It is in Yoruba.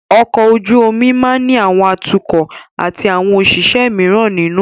Ọkọ̀ ojú omi máa ní àwọn atukọ̀ atí àwọn òṣìṣẹ́ míràn nínú.